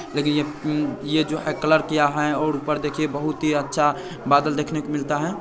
देखिये य्ये यह जो है कलर किया है और ऊपर देखिए बहुत ही अच्छा बादल देखने को मिलता है।